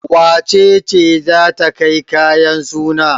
Wace ce za ta kai kayan suna?